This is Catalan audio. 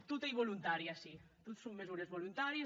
tot ei volontari ací tot son mesures volontàries